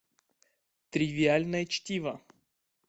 тривиальное чтиво